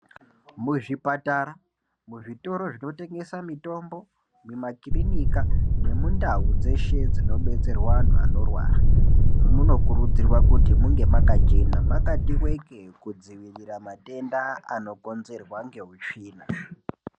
Muzvipatara muzvitoro zvinotengeswa mitombo mumakirinika nemundau dzeshe dzinodetserwa antu eshe anorwara munokurudzirwa kuti munge makachena makati wekee kudzivirira matenda anokurudzirwa ngeutsvina.